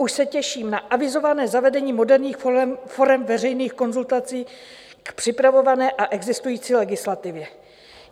Už se těším na avizované zavedení moderních forem veřejných konzultací k připravované a existující legislativě.